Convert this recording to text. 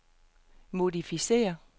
modificér